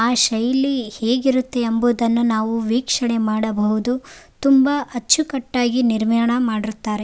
ಆ ಶೈಲಿ ಹೇಗಿರುತ್ತೆ ಎಂಬುದನ್ನು ನಾವು ವೀಕ್ಷಣೆ ಮಾಡಬಹುದು ತುಂಬಾ ಅಚ್ಚುಕಟ್ಟಾಗಿ ನಿರ್ಮಾಣ ಮಾಡಿರುತ್ತಾರೆ.